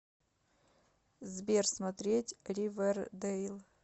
сбер смотреть ривердэйл